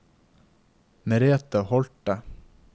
Merethe Holte